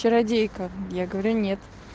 чародейка я говорю нет